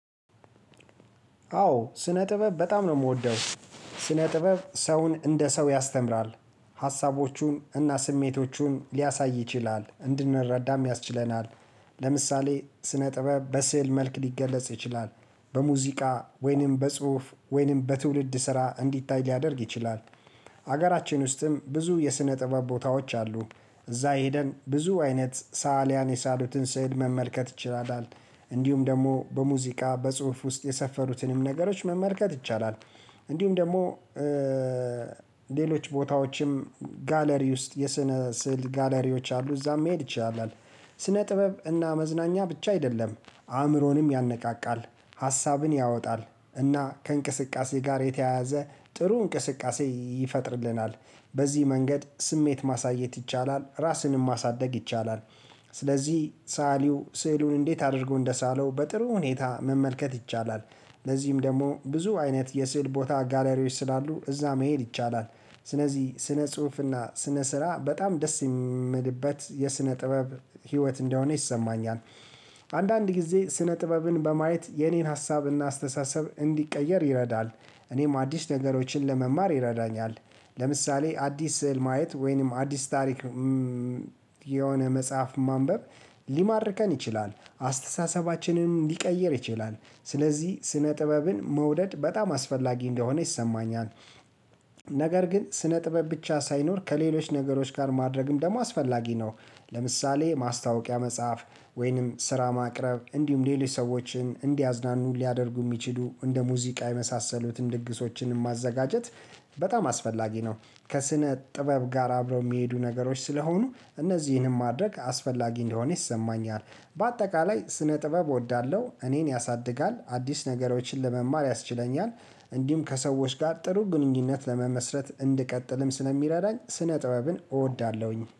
አዎ ስነ ጥበብ በጣም ነው የምወደው ስነ ጥበብ ሰውን እንደ ሰው ያስተምራል ሀሳቦቹን እና ስሜቶቹን ሊያሳይ ይችላል እንድንረዳም ያስችለናል። ለምሳሌ ስነ ጥበብ በስዕል መልክ ሊገለጽ ይችላል። በሙዚቃ ወይንም በጽሁፍ ወይንም በትውልድ ስራ እንዲታይ ሊያደርግ ይችላል። ሀገራችን ውስጥም ብዙ የስነ ጥበብ ቦታዎች አሉ። እዛ ሳሊያንብዙ አይነት ሳሊያን የሳሉትን ስዕል መመልከት ይችላል። እንዲሁም ደግሞ በሙዚቃ በጽሁፍ ውስጥ የሰፈሩትንም ነገሮች መመልከት ይቻላል። እንዲሁም ደግሞ ሌሎች ቦታዎችም ጋለሪ ውስጥ የስነ ስዕል ጋለሪዎች አሉ እዛም መሄድ ይቻላል። ስነ ጥበብ እና መዝናኛ ብቻ አይደለም አእምሮንም ያነቃቃል። ሀሳብን ያወጣል እና ከእንቅስቃሴ ጋር የተያያዘ ጥሩ እንቅስቃሴ ይፈጥርልናል። በዚህ መንገድ ስሜት ማሳየት ይቻላል ራስንም ማሳደግ ይቻላል። ስለዚህ ሳዐልው ስዕሉን እንዴት አድርጎ እንደሳለው በጥሩ ሁኔታ መመልከት ይቻላል። ለዚህም ደግሞ ብዙ አይነት የስዕል ቦታ ጋላሪዎች ስላሉ እዛ መሄድ ይቻላል። ስነዚህ ስነ ጽሁፍና እና ስነ ስራ በጣም ደስ የሚመድበት የስነ ጥበብ ህይወት እንደሆነ ይሰማኛል። አንዳንድ ጊዜ ስነ ጥበብን በማየት የኔን ሀሳብና አስተሳሰብ እንዲቀየር ይረዳል እኔም አዲስ ነገሮችን ለመማር ይረዳኛል። ለምሳሌ አዲስ ስዕል ማየት ወይንም አዲስ ታሪክ የሆነ መጽሐፍ ማንበብ ሊማርከን ይችላል አስተሳሰባችንንም ሊቀይር ይችላል። ስለዚህ ስነ ጥበብን መውደድ በጣም አስፈላጊ እንደሆነ ይሰማኛል። ነገር ግን ስነ ጥበብ ብቻ ሳይኖር ከሌሎች ነገሮች ጋር ማድረግም ደግሞ አስፈላጊ ነው። ለምሳሌ ማስታወቂያ መጽሐፍ ወይንም ስራ ማቅረብ እንዲሁም ሌሎች ሰዎችን እንዲያዝናኑ ሊያደርጉ የሚችሉ እንደ ሙዚቃ የመሳሰሉትን ድግሶችን ማዘጋጀት በጣም አስፈላጊ ነው። ከስነ ጥበብ ጋር አብረው የሚሄዱ ነገሮች ስለሆኑ እነዚህንም ማድረግ አስፈላጊ እንደሆነ ይሰማኛል። በአጠቃላይ ስነ ጥበብ እወዳለሁ እኔን ያሳድጋል አዲስ ነገሮችን ለመማር ያስችለኛል። እንዲሁም ከሰዎች ጋር ጥሩ ግንኙነት ለመመስረት እንድቀጥልም ስለሚረዳኝ ስነ ጥበብን እወዳለሁኝ